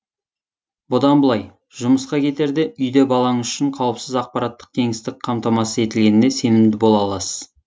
бұдан былай жұмысқа кетерде үйде балаңыз үшін қауіпсіз ақпараттық кеңістік қамтамасыз етілгеніне сенімді бола аласыз